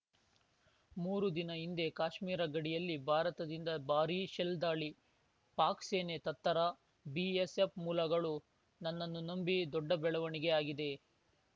ಮೂರು ದಿನ ಹಿಂದೆ ಕಾಶ್ಮೀರ ಗಡಿಯಲ್ಲಿ ಭಾರತದಿಂದ ಭಾರೀ ಶೆಲ್‌ ದಾಳಿ ಪಾಕ್‌ ಸೇನೆ ತತ್ತರ ಬಿಎಸ್‌ಎಫ್‌ ಮೂಲಗಳು ನನ್ನನ್ನು ನಂಬಿ ದೊಡ್ಡ ಬೆಳವಣಿಗೆ ಆಗಿದೆ